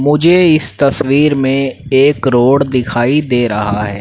मुझे इस तस्वीर में एक रोड दिखाई दे रहा है।